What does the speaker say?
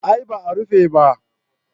A'a ba a rufe ba